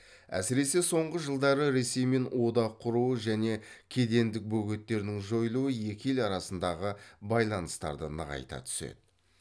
әсіресе соңғы жылдары ресеймен одақ құруы және кедендік бөгеттердің жойылуы екі ел арасындағы байланыстарды нығайта түседі